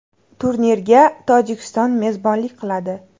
Turnirga Tojikiston mezbonlik qiladi.